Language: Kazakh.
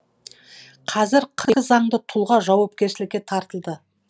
қазір заңды тұлға жауапкершілікке тартылды